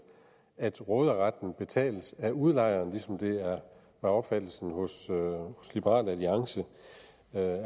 at råderetten betales af udlejeren ligesom det var opfattelsen hos liberal alliance